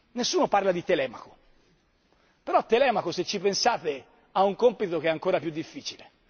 Nessuno parla di Telemaco però Telemaco, se ci pensate, ha un compito che è ancora più difficile.